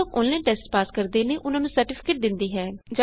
ਜੋ ਲੋਗ online test pass ਕਰ ਲੈੰਦੇ ਨੇ ਓਹਨਾ ਨੂੰ ਸਰਟੀਫਿਕੇਟ ਦੇਂਦੀ ਹੈ